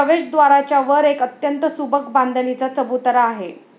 प्रवेशद्वाराच्या वर एक अत्यंत सुबक बांधणीचा चबुतरा आहे.